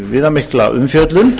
viðamikla umfjöllun